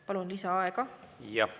Palun lisaaega!